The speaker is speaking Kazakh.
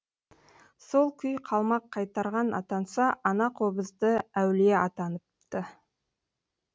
сол күй қалмақ қайтарған атанса ана қобызды әулие атаныпты